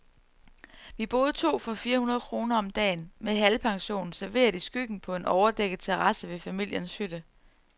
Vi boede to for fire hundrede kroner om dagen, med helpension, serveret i skyggen på en overdækket terrasse ved familiens hytte.